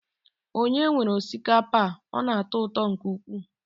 Ònye nwere osikapa a? Ọ na-atọ ụtọ nke ukwuu.